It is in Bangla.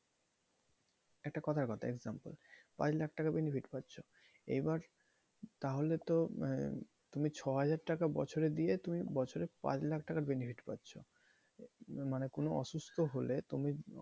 একটা কথার কথা example পাঁচ লাখ টাকা benefit পাচ্ছো এবার তাহলে তো তুমি ছয় হাজার টাকা বছরে দিয়ে তুমি বছরে পাঁচ লাখ টাকার benefit পাচ্ছো মানে তুমি অসুস্থ হলে তুমি,